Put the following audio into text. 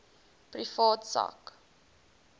private sak